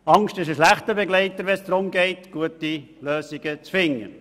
Angst ist ein schlechter Begleiter, wenn es darum geht, gute Lösungen zu finden.